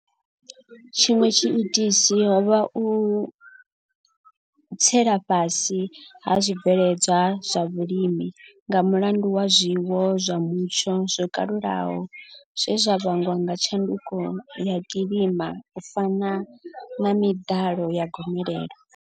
Tshiṅwe tshiitisi ho vha u tsela fhasi ha zwibveledzwa zwa vhulimi nga mulandu wa zwiwo zwa mutsho zwo kalulaho zwe zwa vhangwa nga tshanduko ya kilima u fana na miḓalo ya gomelelo.